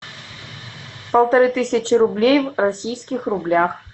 полторы тысячи рублей в российских рублях